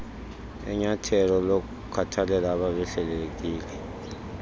enyathelo lokukhathalela abebehlelelekile